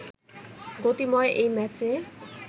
গতিময় এই ম্যাচে